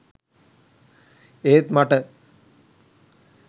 ඒත් මට